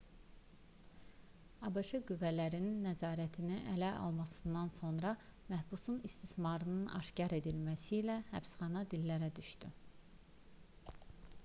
abş qüvvələrinin nəzarəti ələ almasından sonra məhbusun istismarının aşkar edilməsi ilə həbsxana dillərə düşdü